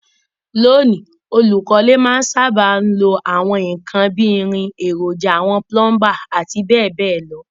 Lóní, olùkọ́lé má n sábà lo àwon nkan bi irin, èròjà àwon plumber àti béèbéè lo